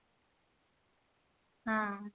ହଁ